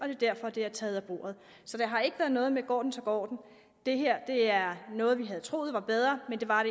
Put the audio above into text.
er derfor det er taget af bordet så det har ikke været noget med at går den så går den det her er noget vi havde troet var bedre men det var